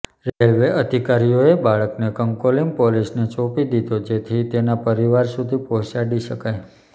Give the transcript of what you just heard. railway અધિકારીઓએ બાળકને કંકોલિમ પોલીસને સોંપી દીધો કે જેથી તેના પરિવાર સુધી પહોંચાડી શકાય